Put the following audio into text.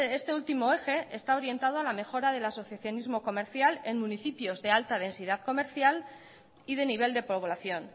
este último eje está orientado a la mejora del asociacionismo comercial en municipios de alta densidad comercial y de nivel de población